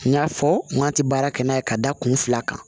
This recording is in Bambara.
N y'a fɔ n k'a tɛ baara kɛ n'a ye ka da kun fila kan